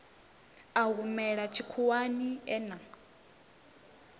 a humela tshikhuwani e na